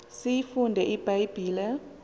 siyifunde ibha yibhile